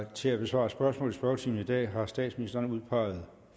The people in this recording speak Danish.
til at besvare spørgsmål i spørgetimen i dag har statsministeren udpeget